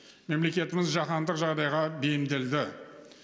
мемлекетіміз жаһандық жағдайға бейімделді